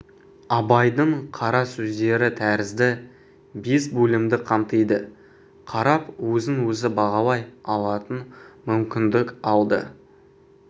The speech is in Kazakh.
абайдың қара сөздері тәрізді бес бөлімді қамтиды қарап өзін-өзі бағалай алатын мүмкіндік алды